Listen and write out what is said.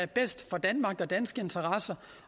bedst for danmark og danske interesser